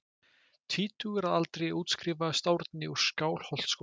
Tvítugur að aldri útskrifaðist Árni úr Skálholtsskóla.